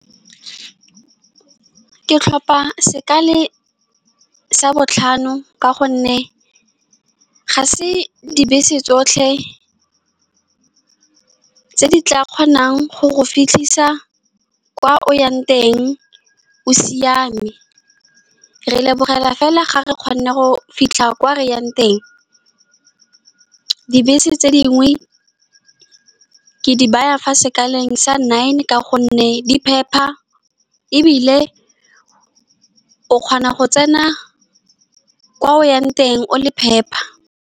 Ke tlhopa sekale sa botlhano, ka gonne ga se dibese tsotlhe tse di tla kgonang go go fitlhisa kwa o yang teng. O siame, re lebogela fela fa re kgona go fitlha ko reyang teng. Ddibese tse dingwe ke di baya fa sekgaleng sa nine, ka gonne di phepa ebile o kgona go tsena kwa o yang teng o le phepa.